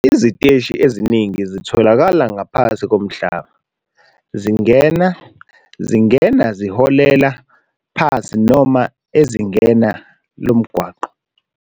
Iziteshi eziningi zitholakala ngaphansi komhlaba, zingena, zingena ziholela phansi noma ezingeni lomgwaqo.